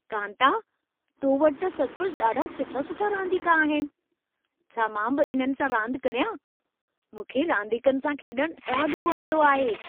कांता, तो वटि त सचुपचु ॾाढा सुठा-सुठा रांदीका आहिनि। छा मां बि इननि सां रांदि करियां? मूंखे रांदीकनि सां खेॾणु ॾाढो वणंदो आहे।